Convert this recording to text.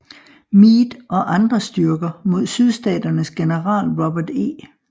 Meade og andre styrker imod Sydstaternes general Robert E